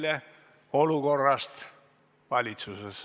Teemaks on olukord valitsuses.